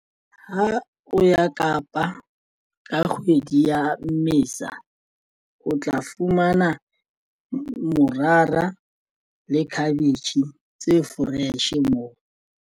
Ha o ya Kapa ka kgwedi ya Mmesa, o tla fumana morara le cabbage tse fresh moo.